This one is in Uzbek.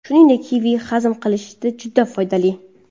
Shuningdek, kivi hazm qilishda juda foydali.